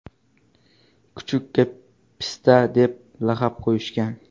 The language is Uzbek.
Kuchukka Pista deb laqab qo‘yishgan.